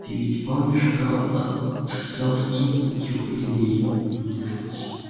ты ведь помнишь про отцовский юбилей